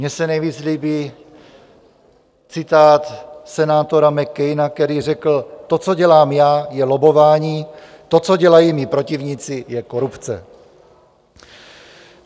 Mně se nejvíc líbí citát senátora McCaina, který řekl: "To, co dělám já, je lobbování, to, co dělají mí protivníci, je korupce."